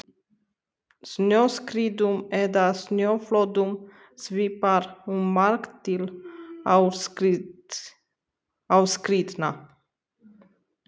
Snjóskriðum eða snjóflóðum svipar um margt til aurskriðna.